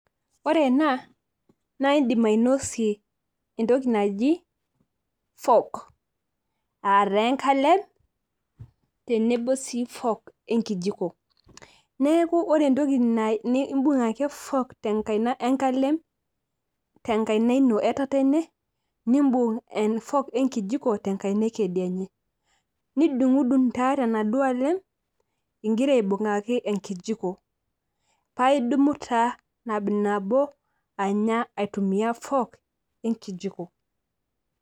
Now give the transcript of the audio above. Ore ena naa idim ainosie etoki naji fork aah taa enkalem tenebo si fork ekijiko, neaku ore etoki aaa ibung ake fork te nkaina we nkalem te nkaina ino etatene nibung e fork we kijiko te nkaina ekedienye nidungdung taduo tenaduo aalem igira aibungaki ekijiko pa idumu taa nabonabo anya aitumia ekijiko.